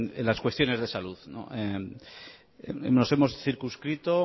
en las cuestiones de salud nos hemos circunscrito